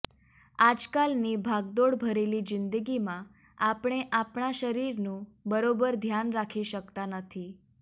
આજકાલની ભાગદોડ ભરેલી જીંદગીમાં આપણે આપણા શરીરનું બરોબર ધ્યાન રાખી શકતા નથી